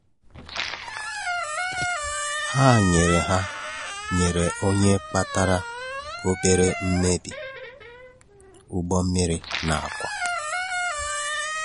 Hà nyerè Hà nyerè onye kpatarà obere mmebi ụgbọ̀ mmirì na ákwà.